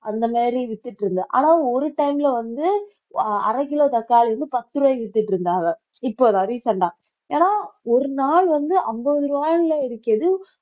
அந்த மாதிரி வித்துட்டு இருந்தது ஆனா ஒரு time ல வந்து அரை கிலோ தக்காளி வந்து பத்து ரூபாய்க்கு வித்துட்டு இருந்தாங்க இப்ப recent ஆ ஏன்னா ஒரு நாள் வந்து ஐம்பது ரூபாய்ல இருக்கிறது